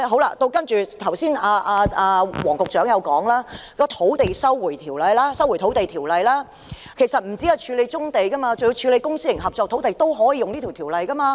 另一方面，黃局長剛才提到《收回土地條例》，其實除了處理棕地之外，處理公私營合作土地亦可以引用該條例。